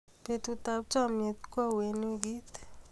Betutab chomiet koauyo eng wikit